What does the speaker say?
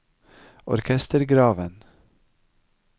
orkestergraven